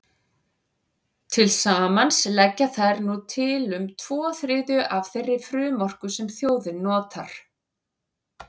Til samans leggja þær nú til um tvo þriðju af þeirri frumorku sem þjóðin notar.